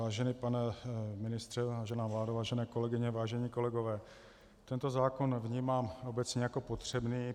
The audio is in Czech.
Vážený pane ministře, vážená vládo, vážené kolegyně, vážení kolegové, tento zákon vnímám obecně jako potřebný.